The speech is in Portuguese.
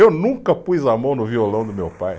Eu nunca pus a mão no violão do meu pai.